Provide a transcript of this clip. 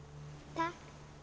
takk